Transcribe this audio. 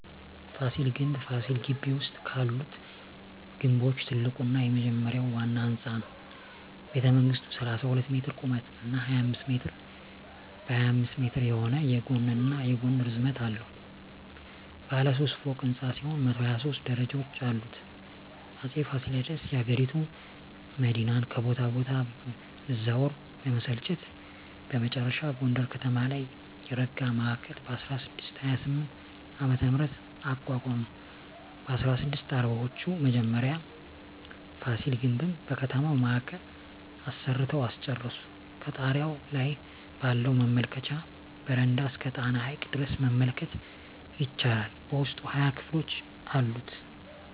ፋሲል ግምብ ፋሲል ግቢ ውስጥ ካሉት ግምቦች ትልቁና የመጀመሪያው ዋና ህንጻ ነው። ቤተመንግሥቱ 32 ሜትር ቁመት እና 25 ሜትር በ25 ሜትር የሆነ የጎንና ጎን ርዝመት አለው። ባለ ሦስት ፎቅ ሕንፃ ሲሆን 123 ደረጃዎች አሉት። አጼ ፋሲለደስ የአገሪቱ መዲናን ከቦታ ቦታ መዛወር በመሰልቸት በመጨረሻ ጎንደር ከተማ ላይ የረጋ ማዕከል በ1628ዓ.ም. አቋቋሙ። በ1640ወቹ መጀመሪያ ፋሲል ግምብን በከተማው ማዕከል አሰርተው አስጨረሱ። ከጣሪያው ላይ ባለው መመልከቻ በረንዳ እስከ ጣና ሐይቅ ድረስ መመልከት ይቻላል። በውስጡ 20 ክፍሎች አሉት።